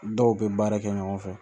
Dɔw bɛ baara kɛ ɲɔgɔn fɛ